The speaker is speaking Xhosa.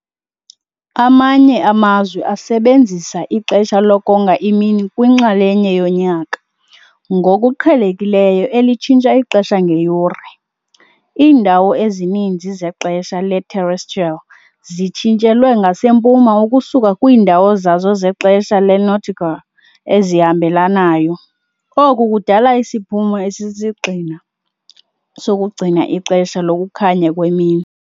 Amanye amazwe asebenzisa ixesha lokonga imini kwinxalenye yonyaka, ngokuqhelekileyo elitshintsha ixesha ngeyure. Iindawo ezininzi zexesha le-terrestrial zitshintshelwe ngasempuma ukusuka kwiindawo zazo zexesha le-nautical ezihambelanayo, oku kudala isiphumo esisisigxina sokugcina ixesha lokukhanya kwemini.